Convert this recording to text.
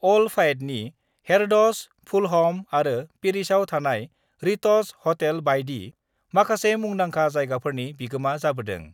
अल फायदनि Harrods, Fulham आरो पेरिसआव थानाय रिटज हटेल बायदि माखासे मुंदांखा जायगाफोरनि बिगोमा जाबोदों।